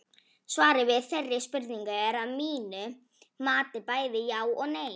Svarið við þeirri spurningu er að mínu mati bæði já og nei.